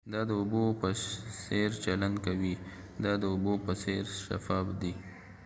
دا د اوبو په څیر چلند کوي دا د اوبو په څیر شفاف دی